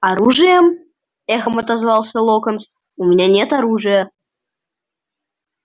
оружием эхом отозвался локонс у меня нет оружия